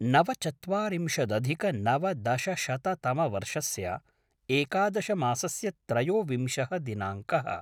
नवचत्वारिंशदधिकनवदशशततमवर्षस्य एकादशमासस्य त्रयोविंशः दिनाङ्कः